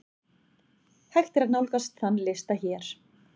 Hægt er nálgast þann lista hér.